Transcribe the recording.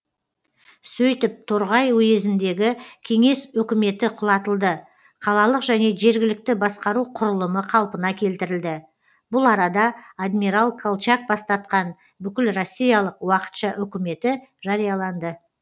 сөйтіп торғай уезіндегі кеңес өкіметі құлатылды қалалық және жергілікті басқару құрылымы қалпына келтірілді бұл арада адмирал колчак бастатқан бүкілроссиялық уақытша өкіметі жарияланды